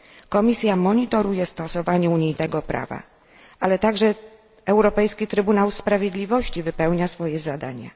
Komisja monitoruje stosowanie u niej tego prawa, ale także Europejski Trybunał Sprawiedliwości wypełnia swoje zadania.